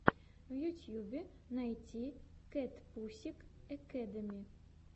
в ютьюбе найти кэтпусик экэдэми